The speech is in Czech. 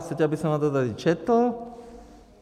Chcete, abych vám to tady četl?